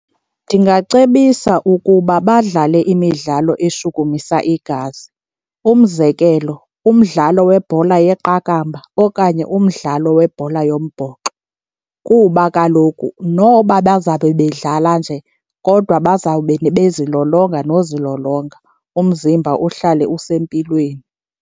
Ndingacebisa ukuba badlale imidlalo eshukumisa igazi. Umzekelo, umdlalo webhola yeqakamba okanye umdlalo webhola yombhoxo, kuba kaloku noba bazabe bedlala nje kodwa bazawube bezilolonga nozilolonga umzimba uhlale usempilweni.